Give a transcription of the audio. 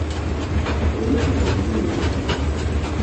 Kũiya mũhothi nĩ ũũru mũno